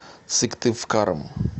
сыктывкаром